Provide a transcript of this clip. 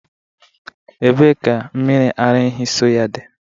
Ebee ka mmiri ara ehi soy dị?